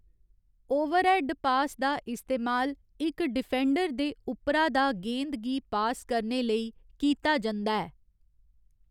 Overhead pass दा इस्तेमाल इक डिफेंडर दे उप्परा दा गेंद गी पास करने लेई कीता जंदा ऐ।